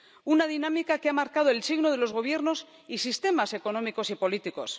Una dinámica que ha marcado el signo de los gobiernos y sistemas económicos y políticos.